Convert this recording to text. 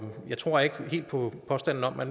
jeg tror ikke helt på påstanden om at